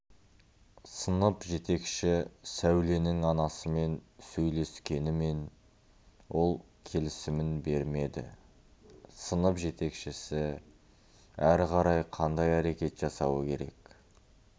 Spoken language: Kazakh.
сынып жетекші сәуленің анасымен сөйлескенімен ол келісімін бермеді сынып жетекшісі әрі қарай қандай әрекет жасауы керек